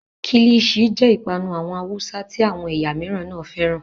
Kílìṣi jẹ́ ìpanu àwọn Haúsá tí àwọn ẹ̀yà mìíràn náà fẹ́ràn.